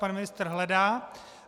Pan ministr hledá.